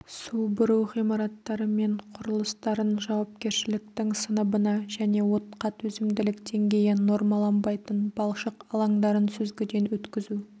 су бұру ғимараттары мен құрылыстарын жауапкершіліктің сыныбына және отқа төзімділік деңгейі нормаланбайтын балшық алаңдарын сүзгіден өткізу